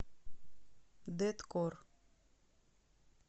дэткор